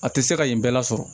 A tɛ se ka yen bɛɛ lasɔrɔ